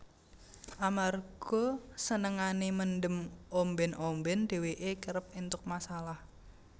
Amarga senengane mendem omben omben dheweke kerep entuk masalah